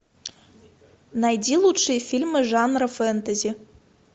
найди лучшие фильмы жанра фэнтези